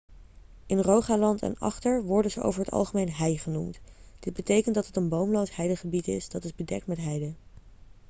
in rogaland en agder worden ze over het algemeen hei' genoemd dit bekent dat het een boomloos heidegebied is dat is bedekt met heide